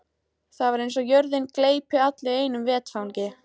Það er eins og jörðin gleypi alla í einu vetfangi.